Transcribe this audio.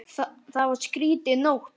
Það var skrýtin nótt.